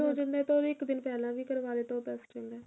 ਹੋ ਜਾਂਦਾ ਤਾਂ ਉਹਦੇ ਇੱਕ ਦਿਨ ਪਹਿਲਾਂ ਵੀ ਕਰਵਾ ਲੈ ਤਾਂ ਉਹ best ਰਹਿੰਦਾ